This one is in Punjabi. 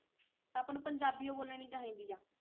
ਆਪਾਂ ਨੂੰ ਪੰਜਾਬੀ ਓ ਬੋਲਣੀ ਚਾਹੀਦੀ ਆ।